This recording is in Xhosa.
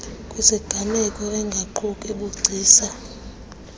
kwiziganeko engaquki bugcisa